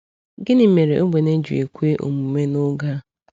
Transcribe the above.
Gịnị mere ogbenye ji ekwe omume n’oge a?